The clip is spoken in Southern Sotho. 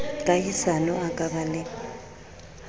kahisano a ka ba le